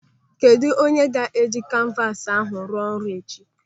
Kedụ onye ga-eji kanvas ahụ arụ ọrụ echi?